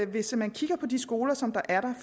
hvis man kigger på de skoler som der er